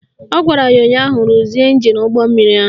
Ọ gwara ya ụnyaahụ "Ruzie ịnjin ụgbọmmiri ahụ"!